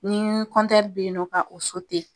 Ni be yen ka o